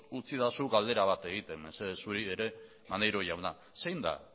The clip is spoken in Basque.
utzi eidazu galdera bat egiten mesedez zuri ere maneiro jauna zein da